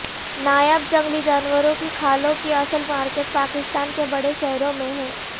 نایاب جنگلی جانوروں کی کھالوں کی اصل مارکیٹ پاکستان کے بڑے شہروں میں ہے